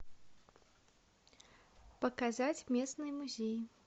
показать местные музеи